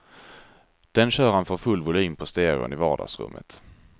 Den kör han för full volym på stereon i vardagsrummet.